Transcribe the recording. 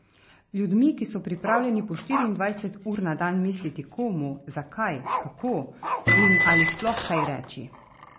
Ljudmi, ki so pripravljeni po štiriindvajset ur na dan misliti, komu, zakaj, kako in ali sploh kaj reči.